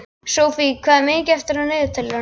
Sophie, hvað er mikið eftir af niðurteljaranum?